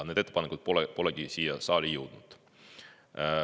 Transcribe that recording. Need ettepanekud polegi siia saali jõudnud.